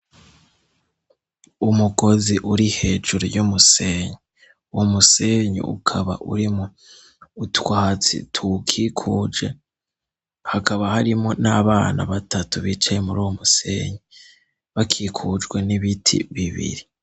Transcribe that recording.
Umukozi uri hejuru y'umusenyi wo musenyi ukaba uri mu utwatsi tuukikuje hakaba harimo n'abana batatu bicaye muri uwo musenyi bakikujwe n'ibiti bibiri.